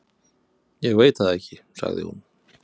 """Ég veit það ekki, sagði hún."""